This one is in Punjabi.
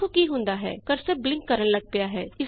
ਦੇਖੋ ਕੀ ਹੁੰਦਾ ਹੈ ਕਰਸਰ ਬਲਿਂਕ ਕਰਨ ਲੱਗ ਪਿਆ ਹੈ